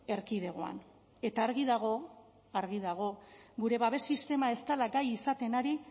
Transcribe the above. erkidegoan eta argi dago argi dago gure babes sistema ez dela gai izaten ari